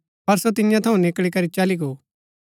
पर सो तियां थऊँ निकळी करी चली गो